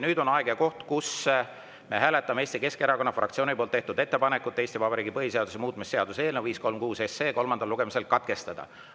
Nüüd on see aeg ja koht, kus me hääletame Eesti Keskerakonna fraktsiooni tehtud ettepanekut Eesti Vabariigi põhiseaduse muutmise seaduse eelnõu 536 kolmas lugemine katkestada.